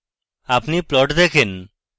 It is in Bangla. আপনি প্লট দেখেন